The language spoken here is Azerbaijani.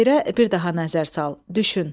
Şeirə bir daha nəzər sal, düşün.